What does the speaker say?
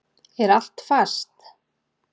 Er allt fast?